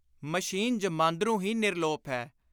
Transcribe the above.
Machine ਜਮਾਂਦਰੂ ਹੀ ਨਿਰਲੋਪ ਹੈ।